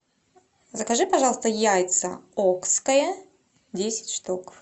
закажи пожалуйста яйца окское десять штук